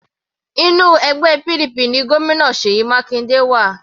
Inú ẹgbẹ́ PDP ni Gómìnà Seyi Makinde wà.